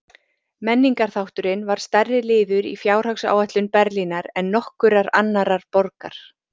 Menningarþátturinn var stærri liður í fjárhagsáætlun Berlínar en nokkurrar annarrar borgar.